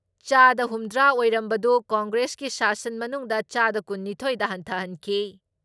ꯆꯥꯗ ꯍꯨꯝꯗ꯭ꯔꯥ ꯑꯣꯏꯔꯝꯕꯗꯨ ꯀꯪꯒ꯭ꯔꯦꯁꯀꯤ ꯁꯥꯁꯟ ꯃꯅꯨꯡꯗ ꯆꯥꯗ ꯀꯨꯟ ꯅꯤꯊꯣꯏ ꯗ ꯍꯟꯊꯍꯟꯈꯤ ꯫